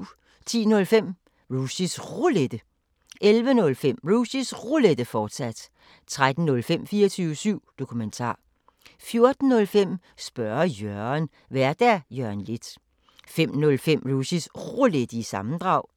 10:05: Rushys Roulette 11:05: Rushys Roulette, fortsat 13:05: 24syv Dokumentar 14:05: Spørge Jørgen Vært: Jørgen Leth 05:05: Rushys Roulette – sammendrag